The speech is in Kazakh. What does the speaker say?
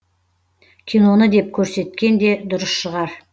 киноны деп көрсеткен де дұрыс шығар